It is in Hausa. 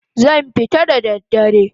Zan fita da dare